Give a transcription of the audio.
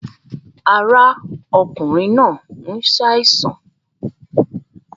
Ara ọkùnrin náà ń ṣàìsàn